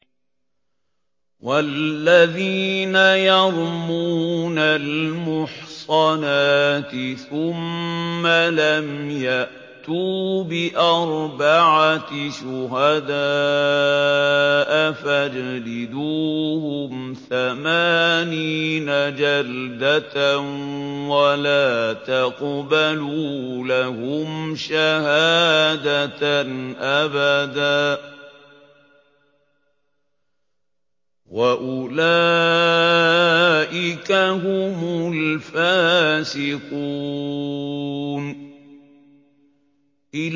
وَالَّذِينَ يَرْمُونَ الْمُحْصَنَاتِ ثُمَّ لَمْ يَأْتُوا بِأَرْبَعَةِ شُهَدَاءَ فَاجْلِدُوهُمْ ثَمَانِينَ جَلْدَةً وَلَا تَقْبَلُوا لَهُمْ شَهَادَةً أَبَدًا ۚ وَأُولَٰئِكَ هُمُ الْفَاسِقُونَ